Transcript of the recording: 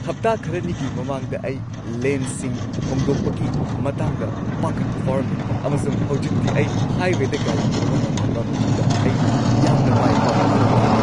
ꯍꯞꯇꯥ ꯈꯔꯅꯤꯒꯤ ꯃꯃꯥꯡꯗ, ꯑꯩ ꯂꯦꯟꯁꯤꯡ ꯍꯣꯡꯗꯣꯛꯄꯒꯤ ꯃꯇꯥꯡꯗ ꯄꯥꯈꯠꯄ ꯐꯥꯎꯔꯝꯃꯤ, ꯑꯃꯁꯨꯡ ꯍꯧꯖꯤꯛꯇꯤ ꯑꯩ ꯍꯥꯏꯋꯦꯗ ꯒꯥꯔꯤ ꯊꯧꯕ ꯉꯝꯂꯕ ꯃꯇꯨꯡꯗ ꯑꯩ ꯌꯥꯝꯅ ꯃꯥꯏ ꯄꯥꯛꯄ ꯐꯥꯎꯈꯤ!